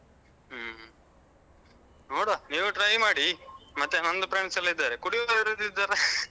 ಹ್ಮ್ ನೋಡುವ ನೀವು try ಮಾಡಿ, ಮತ್ತೆ ನಂದು friends ಎಲ್ಲ ಇದ್ದಾರೆ ಕುಡಿಯುದು ಯಾರಾದ್ರು ಇದ್ದಾರಾ?